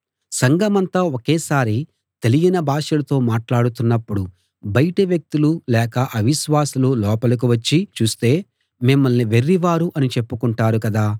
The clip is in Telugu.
సంఘమంతా ఒకేసారి తెలియని భాషలతో మాట్లాడుతున్నప్పుడు బయటి వ్యక్తులు లేక అవిశ్వాసులు లోపలికి వచ్చి చూస్తే మిమ్మల్ని వెర్రివారు అని చెప్పుకొంటారు కదా